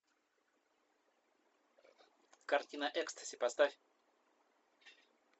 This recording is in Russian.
картина экстази поставь